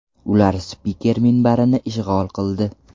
Ular spiker minbarini ishg‘ol qildi.